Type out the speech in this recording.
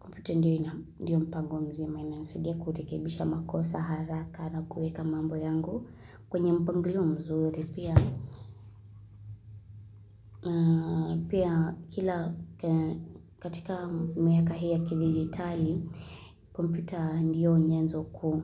Kompyuta ndiyo mpango mzima, inasidia kurekebisha makosa, haraka na kuweka mambo yangu. Kwenye mpango mzuri pia, pia kila katika miaka hii kigitali, kompyuta ndiyo nyanzo kuu.